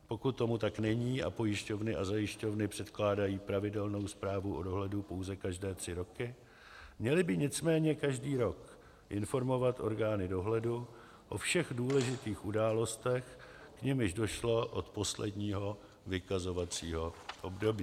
Pokud tomu tak není a pojišťovny a zajišťovny předkládají pravidelnou zprávu o dohledu pouze každé tři roky, měly by nicméně každý rok informovat orgány dohledu o všech důležitých událostech, k nimž došlo od posledního vykazovaného období.